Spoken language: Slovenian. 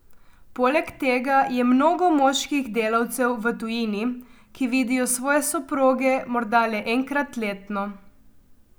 Poleg tega je mnogo moških delavcev v tujini, ki vidijo svoje soproge morda le enkrat letno.